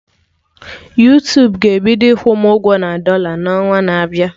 Yuutubuga-ebido ịkwụ m ụgwọ na dọla n'ọnwa na-abịa